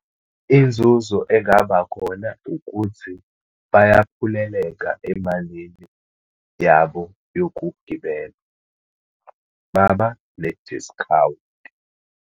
Inzuzo engabakhona ukuthi bayaphuleleka emalini yabo yokugibela, baba ne-discount.